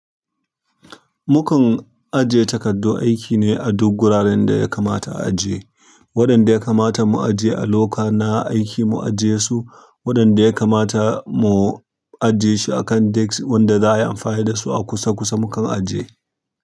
Mukan ajiye takardu aiki ne a duk gurarenda ya kamata a ajiye. Waɗanda ya kamata mu ajiye a locker na aiki mu ajie su, waɗanda ya kamata mu ajiye shi a kan desk wanda za a yi amfani da su a kusa kusa mukan ajiye.